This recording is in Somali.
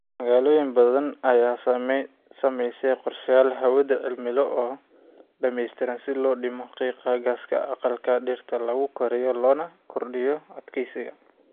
Magaalooyin badan ayaa samaynaya qorshayaal hawleed cimilo oo dhamaystiran si loo dhimo qiiqa gaaska aqalka dhirta lagu koriyo loona kordhiyo adkaysiga.